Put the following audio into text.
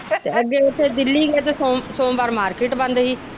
ਅੱਗੇ ਉਥੇ ਦਿੱਲੀ ਸੋਮਵਾਰ ਮਾਰਕੀਟ ਬੰਦ ਸੀ।